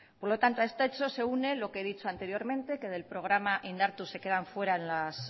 por lo tanto a este hecho se une lo que he dicho anteriormente que del programa indartu se quedan fuera las